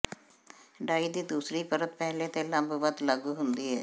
ਡਾਈ ਦੀ ਦੂਸਰੀ ਪਰਤ ਪਹਿਲੇ ਤੇ ਲੰਬਵਤ ਲਾਗੂ ਹੁੰਦੀ ਹੈ